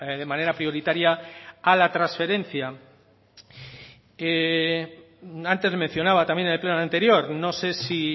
de manera prioritaria a la transferencia antes le mencionaba también en el pleno anterior no sé si